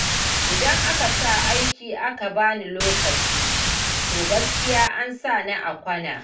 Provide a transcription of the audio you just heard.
Idan aka sa aiki aka ba ni lokaci, to gaskiya an sa ni a kwana.